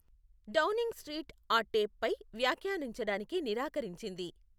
Downing Street ఆ టేప్పై వ్యాఖ్యానించడానికి నిరాకరించింది.